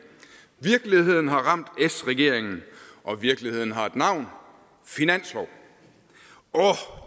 virkeligheden har ramt s regeringen og virkeligheden har et navn finanslov åh